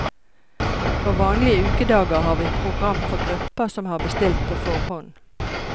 På vanlige ukedager har vi program for grupper som har bestilt på forhånd.